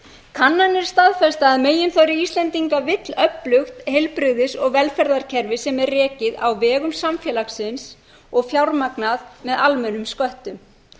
kannanir staðfesta að meginþorri íslendinga vill öflugt heilbrigðis og velferðarkerfi sem er rekið á vegum samfélagsins og fjármagnað með almennum sköttum